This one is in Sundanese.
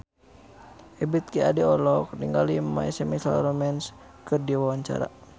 Ebith G. Ade olohok ningali My Chemical Romance keur diwawancara